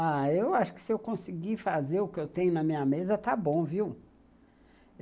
Ah, eu acho que se eu conseguir fazer o que eu tenho na minha mesa, está bom, viu?